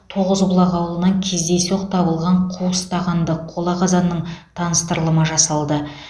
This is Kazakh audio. тоғызбұлақ ауылынан кездейсоқ табылған қуыс тағанды қола қазанның таныстырылымы жасалды